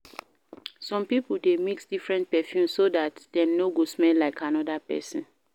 Some pipo de mix different perfumes so that dem no go smell like another person